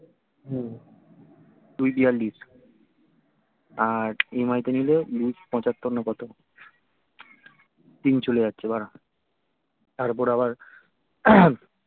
হম দুই বিয়াল্লিশ আর EMI তে নিলে দুই পঁচাত্তর না কত তিন চলে যাচ্ছে বাড়া তার ওপর আবার